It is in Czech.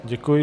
Děkuji.